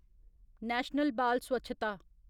national बाल स्वच्छता